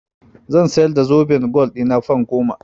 Zan siyar da zoben gwal ɗina fan goma.